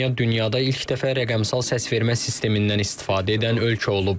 Estoniya dünyada ilk dəfə rəqəmsal səsvermə sistemindən istifadə edən ölkə olub.